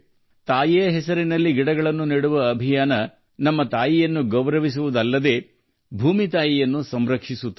ತಾಯಿಯ ಹೆಸರಿನಲ್ಲಿ ಸಸಿಗಳನ್ನು ನೆಡುವ ಅಭಿಯಾನವು ನಮ್ಮ ತಾಯಿಯನ್ನು ಗೌರವಿಸುವುದಲ್ಲದೆ ಭೂಮಿ ತಾಯಿಯನ್ನು ರಕ್ಷಿಸುತ್ತದೆ